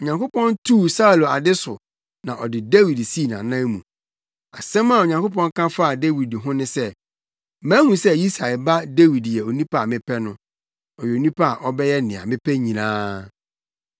Onyankopɔn tuu Saulo ade so na ɔde Dawid sii nʼanan mu. Asɛm a Onyankopɔn ka faa Dawid ho ne sɛ, ‘Mahu sɛ Yisai ba Dawid ne onipa a mepɛ no; ɔyɛ onipa a ɔbɛyɛ nea mepɛ nyinaa.’